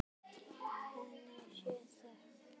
Henni sé þökk.